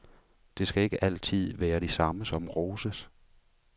Det skal ikke altid være de samme, som roses.